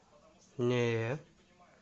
нее